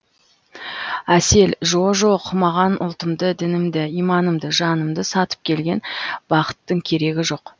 әсел жо жоқ маған ұлтымды дінімді иманымды жанымды сатып келген бақыттың керегі жоқ